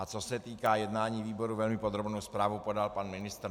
A co se týká jednání výboru, velmi podrobnou zprávu podal pan ministr.